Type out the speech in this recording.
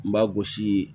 N ba gosi